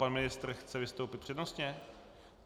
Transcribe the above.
Pan ministr chce vystoupit přednostně?